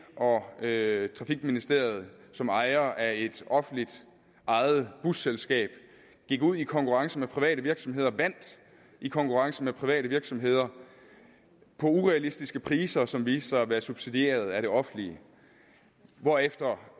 og det trafikministerium som ejere af et offentligt ejet busselskab gik ud i konkurrence med private virksomheder og vandt i konkurrence med private virksomheder på urealistiske priser som viste sig at være subsidieret af det offentlige hvorefter